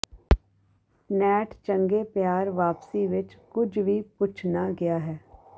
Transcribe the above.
net ਚੰਗੇ ਪਿਆਰ ਵਾਪਸੀ ਵਿਚ ਕੁਝ ਵੀ ਪੁੱਛ ਨਾ ਗਿਆ ਹੈ